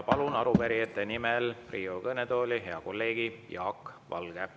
Palun Riigikogu kõnetooli arupärijate nimel hea kolleegi Jaak Valge.